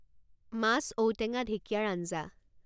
মাছ ঔটেঙা ঢেঁকিয়াৰ আঞ্জা